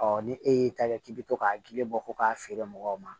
ni e y'i ta kɛ k'i bɛ to k'a gili bɔ k'a feere mɔgɔw ma